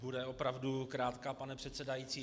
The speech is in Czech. Bude opravdu krátká, pane předsedající.